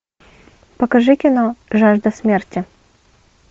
покажи кино жажда смерти